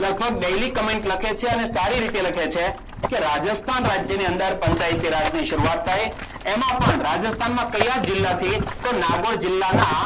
લગભગ daily comment લખે છે. અને સારી રીતે લખે છે કે રાજસ્થાન રાજ્યની અંદર પંચાયતી રાજની શરૂઆત થઈ. એમાં પણ રાજસ્થાનમાં કયા જિલ્લા થી? તો નાગોર જિલ્લાના